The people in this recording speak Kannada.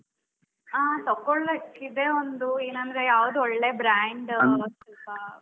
ಹಾ, ತಕೋಳಕ್ಕೆ ಇದೆ ಒಂದು ಏನಂದ್ರೆ ಯಾವುದು ಒಳ್ಳೆ brand ಒಂದು ಸ್ವಲ್ಪ.